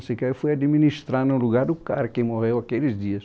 Sei que aí eu fui administrar no lugar do cara que morreu aqueles dias.